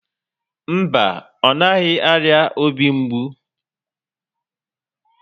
Mba, ọ naghị arịa obi mgbu